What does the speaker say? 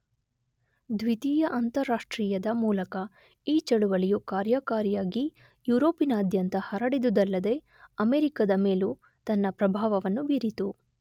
ದ್ವಿತೀಯ ಅಂತಾರಾಷ್ಟ್ರೀಯದ ಮೂಲಕ ಈ ಚಳವಳಿಯು ಕಾರ್ಯಕಾರಿಯಾಗಿ ಯುರೋಪಿನಾದ್ಯಂತ ಹರಡಿದುದಲ್ಲದೆ ಅಮೆರಿಕದ ಮೇಲೂ ತನ್ನ ಪ್ರಭಾವವನ್ನು ಬೀರಿತು.